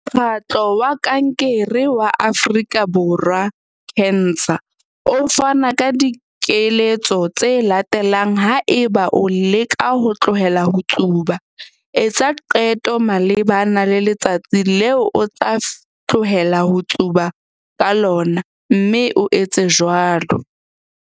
Mokgatlo wa Kankere wa Afrika Borwa, CANSA, o fana ka dikeletso tse latelang haeba o leka ho tlohela ho tsuba- Etsa qeto malebana le letsatsi leo o tla tlohela ho tsuba ka lona, mme o etse jwalo.